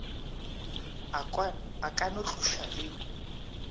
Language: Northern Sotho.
a ka no tloša le